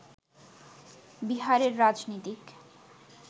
বিহারের রাজনীতিক